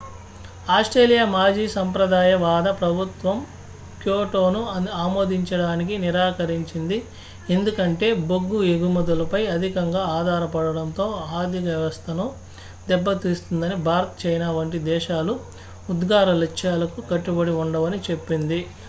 Australia మాజీ సంప్రదాయవాద ప్రభుత్వం క్యోటోను ఆమోదించడానికి నిరాకరించింది ఎందుకంటే బొగ్గు ఎగుమతులపై అధికంగా ఆధారపడటంతో ఆర్థిక వ్యవస్థను దెబ్బతీస్తుందని భారత్ చైనా వంటి దేశాలు ఉద్గార లక్ష్యాలకు కట్టుబడి ఉండవని చెప్పింది